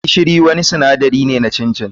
Gishiri wani sinadari ne na chin chin.